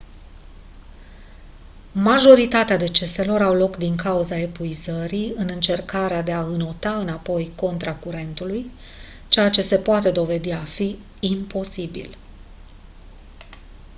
majoritatea deceselor au loc din cauza epuizării în încercarea de a înota înapoi contra curentului ceea ce se poate dovedi a fi imposibil